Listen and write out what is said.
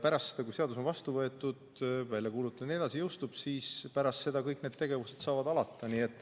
Pärast seda, kui seadus on vastu võetud, välja kuulutatud jne ehk jõustub, kõik need tegevused saavad alata.